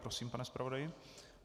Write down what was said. Prosím, pane zpravodaji.